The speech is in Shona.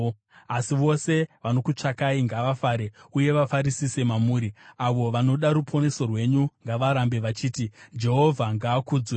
Asi vose vanokutsvakai ngavafare uye vafarisise mamuri; avo vanoda ruponeso rwenyu ngavarambe vachiti, “Jehovha ngaakudzwe!”